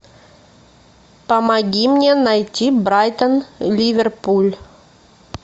помоги мне найти брайтон ливерпуль